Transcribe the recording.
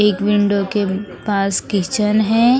एक विंडो के पास किचन है।